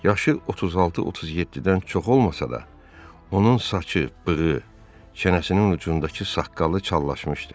Yaşı 36-37-dən çox olmasa da, onun saçı, bığı, çənəsinin ucundakı saqqalı çallaşmışdı.